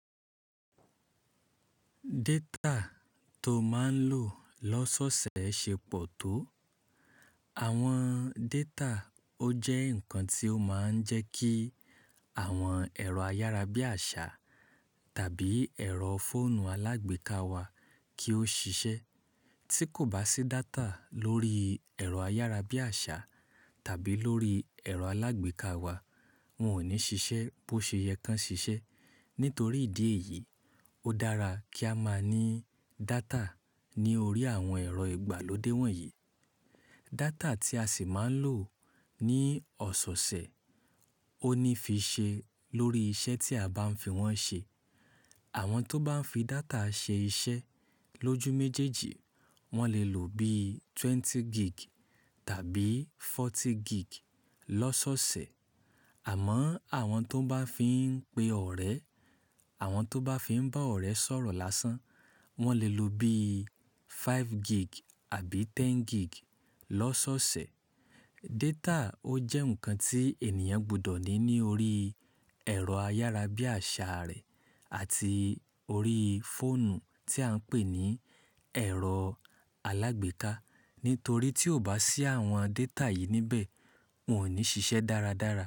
Data tó máa ń lò lọ́sọ̀sẹ̀ ṣe pọ̀ tó. Àwọn data ó jẹ́ nǹkan tó máa ń jẹ́ kí àwọn ẹ̀rọ ayárabíàṣá tàbí ẹ̀rọ fóònù alágbèéká wa kí ó ṣiṣẹ́. Tí kò bá sí data lórí ẹ̀rọ ayárabíàṣá tàbí lórí ẹ̀rọ alágbèéká wa, wọn ò ní ṣiṣẹ́ bó ṣe yẹ kí wọ́n ṣiṣẹ́. Nítorí ìdí èyí, ó dára kí a máa ní data ní orí àwọn ẹ̀rọ ìgbàlódé wọ̀nyí. Data tí a sì máa ń lò ní ọ̀sọ̀ọ̀sẹ̀ ó ní fi ṣe lórí iṣẹ́ tí a bá ń fi wọ́n ṣe. Àwọn tó bá ń fi data ṣe iṣẹ́ lójú méjèèjì, wọ́n lè lò bí ogún gig tàbí ogójì gig lọ́sọ̀sẹ̀. Àmọ́ àwọn tó bá fi ń pe ọ̀rẹ́, àwọn tó bá fi ń bá ọ̀rẹ́ sọ̀rọ̀ lásán, wọ́n lè lò bí márùn-ún gig àbí ẹ̀wá gig lọ́sọ̀sẹ̀. Data ó jẹ́ nǹkan tí ènìyàn gbọdọ̀ ní ní orí ẹ̀rọ ayárabíàṣá rẹ̀ àti orí fóònù tí à ń pè ní ẹ̀rọ alágbèéká. Nítorí tí ó bá sí àwọn data yìí níbẹ̀, wọn ò ní ṣiṣẹ́ dáradára.